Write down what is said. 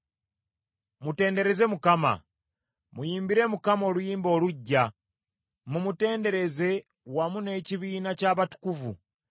Mutendereze Mukama ! Muyimbire Mukama oluyimba oluggya, mumutenderereze wamu n’ekibiina ky’abatukuvu.